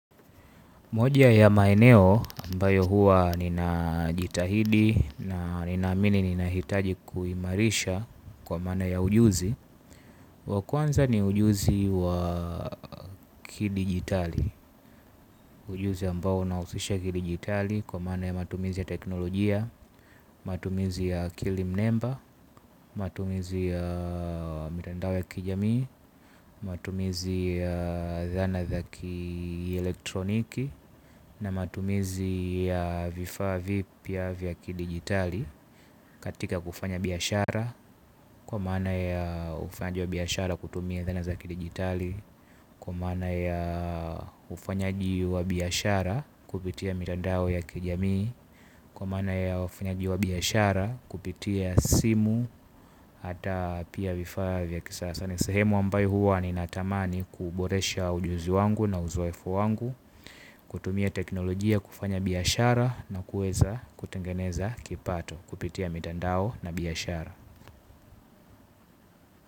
Moja ya maeneo mbayo huwa ninajitahidi na ninaamini ninahitaji kuimarisha kwa maana ya ujuzi. Wa kwanza ni ujuzi wa kidigitali. Ujuzi ambao unahusisha kidigitali kwa maana ya matumizi ya teknolojia. Matumizi ya kilimnemba, matumizi ya mitandao ya kijamii matumizi ya zana za kielektroniki na matumizi ya vifaa vipya vya kidigitali katika kufanya biashara kwa maana ya ufanyaji wa biashara kutumia zana za ki digitali kwa maana ya ufanyaji wa biashara kupitia mitandao ya kijamii, kwa mana ya ufanyaji wa biashara kupitia simu, ata pia vifaa vya kisasa ni sehemu ambayo huwa ninatamani kuboresha ujuzi wangu na uzoefu wangu. Kutumia teknolojia kufanya biashara na kueza kutengeneza kipato kupitia mitandao na biashara.